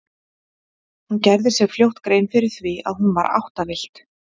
Hún gerði sér fljótt grein fyrir því að hún var áttavillt.